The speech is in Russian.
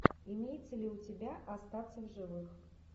имеется ли у тебя остаться в живых